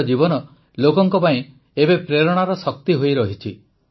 ତାଙ୍କ ଜୀବନ ଲୋକଙ୍କ ପାଇଁ ଏକ ପ୍ରେରଣା ଶକ୍ତି ହୋଇରହିଛି